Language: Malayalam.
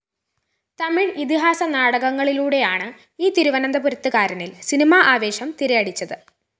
തമിഴ് ഇതിഹാസനാടകങ്ങളിലൂടെയാണ് ഈ തിരുവനന്തപുരത്തുകാരനില്‍ സിനിമാ ആവേശം തിരയടിച്ചത്